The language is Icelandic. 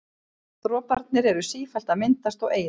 Droparnir eru sífellt að myndast og eyðast.